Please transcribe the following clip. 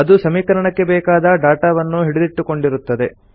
ಅದು ಸಮೀಕರಣಕ್ಕೆ ಬೇಕಾದ ಡಾಟಾವನ್ನು ಹಿಡಿದಿಟ್ಟುಕೊಂಡಿರುತ್ತದೆ